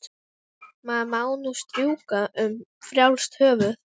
Maður má nú strjúka um frjálst höfuð!